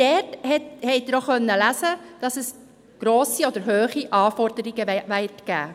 Dort konnten Sie auch lesen, dass hohe Anforderungen gestellt werden.